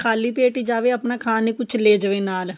ਖ਼ਾਲੀ ਪੇਟ ਹੀ ਜਾਵੇ ਆਪਣਾ ਖਾਣ ਨੂੰ ਕੁੱਝ ਲੈ ਜਾਵੇ ਨਾਲ